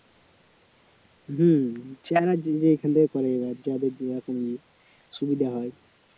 হম যাদের যে রকম সুবিধা হয়